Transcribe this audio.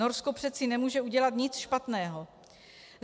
Norsko přece nemůže udělat nic špatného.